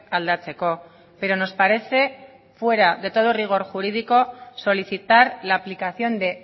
aldatzeko pero nos parece fuera de todo rigor jurídico solicitar la aplicación de